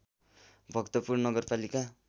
भक्तपुर नगरपालिका